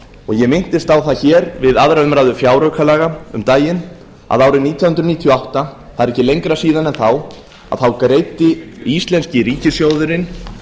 og ég minntist á það hér við aðra umræðu fjáraukalaga um daginn að árið nítján hundruð níutíu og átta það er ekki lengra síðan en þá þá greiddi íslenski ríkissjóðurinn